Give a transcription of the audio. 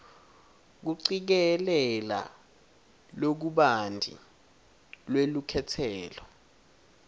kucikelela lokubanti lwelukhetselo